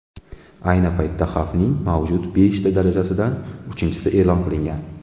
Ayni paytda xavfning mavjud beshta darajasidan uchinchisi e’lon qilingan.